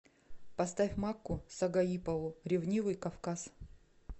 поставь макку сагаипову ревнивый кавказ